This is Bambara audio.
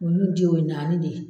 Olu jiw ye naani de ye.